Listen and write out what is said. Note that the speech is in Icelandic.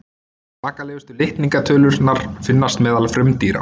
Svakalegustu litningatölurnar finnast meðal frumdýra.